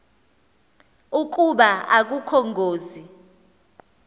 ukuba akukho ngozi